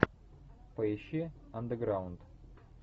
поищи андеграунд